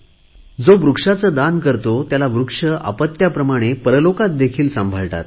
जो वृक्षाचे दान करतो त्याला वृक्ष अपत्याप्रमाणे परलोकात देखील सांभाळतात